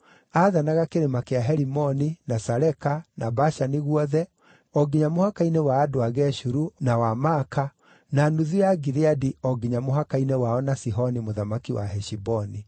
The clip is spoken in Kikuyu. Aathanaga Kĩrĩma kĩa Herimoni, na Saleka, na Bashani guothe, o nginya mũhaka-inĩ wa andũ a Geshuru, na wa Maaka, na nuthu ya Gileadi o nginya mũhaka-inĩ wao na Sihoni mũthamaki wa Heshiboni.